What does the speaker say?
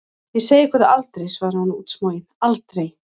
Ég segi ykkur það aldrei, svarði hún útsmogin, aldrei!